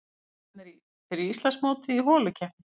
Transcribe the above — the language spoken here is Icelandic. Riðlarnir fyrir Íslandsmótið í holukeppni